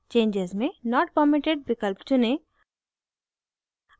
changes में not permitted विकल्प चुनें